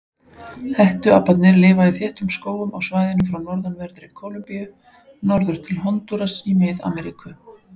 Hettuaparnir lifa í þéttum skógum á svæðinu frá norðanverðri Kólumbíu norður til Hondúras í Mið-Ameríku.